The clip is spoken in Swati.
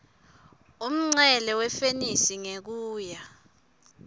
umncele wefenisi ngekuya